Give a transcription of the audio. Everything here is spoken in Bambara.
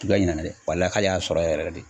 ɲina na dɛ ka y'a sɔrɔ yɛrɛ de